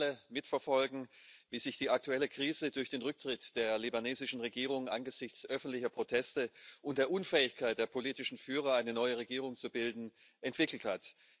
Wir konnten alle mitverfolgen, wie sich die aktuelle Krise durch den Rücktritt der libanesischen Regierung angesichts öffentlicher Proteste und der Unfähigkeit der politischen Führer, eine neue Regierung zu bilden, entwickelt hat.